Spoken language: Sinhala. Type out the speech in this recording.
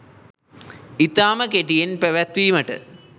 ඉතාම කෙටියෙන් පැවැත්වීමට